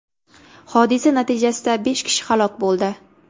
Hodisa natijasida besh kishi halok bo‘ldi .